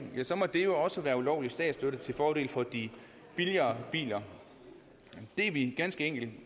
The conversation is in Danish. ja så må det jo også være ulovlig statsstøtte til fordel for de billigere biler det er vi ganske enkelt